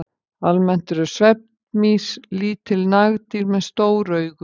Almennt eru svefnmýs lítil nagdýr með stór augu.